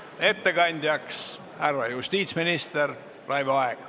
Ettekandjaks härra justiitsminister Raivo Aeg.